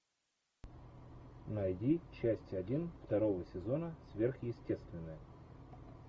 найди часть один второго сезона сверхъестественное